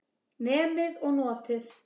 Nemið og notið.